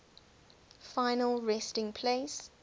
final resting place